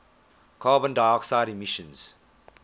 carbon dioxide emissions